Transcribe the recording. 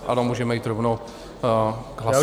Ano, můžeme jít rovnou k hlasování.